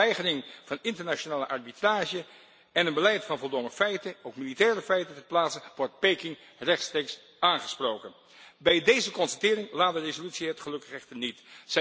Met zijn weigering van internationale arbitrage en een beleid van voldongen feiten, ook militaire feiten ter plaatse, wordt Peking rechtstreeks aangesproken. Bij deze constatering laat de resolutie het gelukkig echter niet.